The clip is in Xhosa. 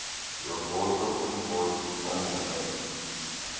yovoto umvoti ongummeli